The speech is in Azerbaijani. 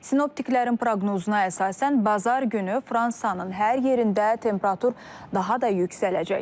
Sinoptiklərin proqnozuna əsasən bazar günü Fransanın hər yerində temperatur daha da yüksələcək.